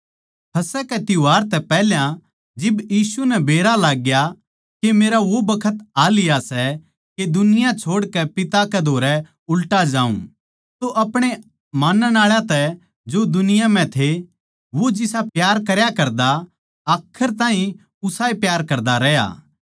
फसह कै त्यौहार तै पैहल्या जिब यीशु नै बेरा लागग्या के मेरा वो बखत आ लिया सै के दुनिया छोड़कै पिता कै धोरै उल्टा जाऊँ तो अपणे माणण आळा तै जो दुनिया म्ह थे वो प्यार करया करदा आखर ताहीं उसाए प्यार करदा रह्या